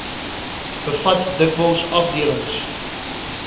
bevat dikwels afdelings